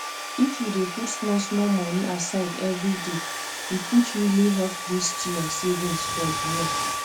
if you dey put small small money aside every day e fit really help boost your savings for the year